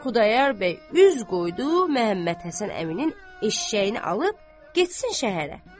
Xudayar bəy üz qoydu Məhəmmədhəsən əminin eşşəyini alıb getsin şəhərə.